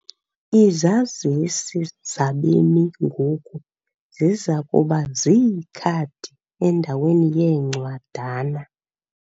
Izazisi zabemi ngoku ziza kuba ziikhadi endaweni yeencwadana.